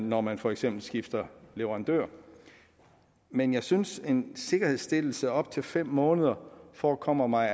når man for eksempel skifter leverandør men jeg synes altså at en sikkerhedsstillelse på op til fem måneder forekommer mig